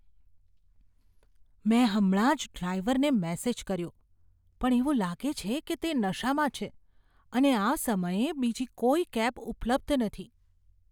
મેં હમણાં જ ડ્રાઈવરને મેસેજ કર્યો પણ એવું લાગે છે કે તે નશામાં છે અને આ સમયે બીજી કોઈ કેબ ઉપલબ્ધ નથી.